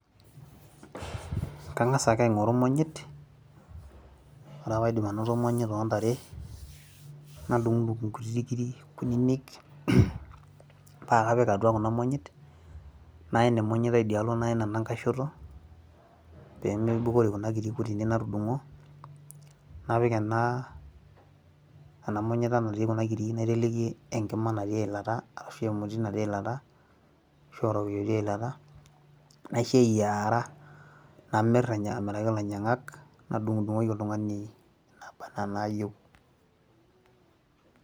Kang'asa ake aing'oru imonyit, ore ake paidip anoto imonyit ontare, nadung'dung' inkutiti kiri kuninik, pakapik atua kuna monyit, naen emonyita idialo naen enkae shoto, pemeibukori kuna kirik kunyinyi natudung'o, napiki ena, ena monyita natii kuna kirik naiteleki enkima natii eilata, arashu emoti natii eilata, ashu orokiyo otii eilata, naisho eyiaara. Namir amiraki ilainyang'ak, nadung'dung'oki oltung'ani naba enaa naayieu.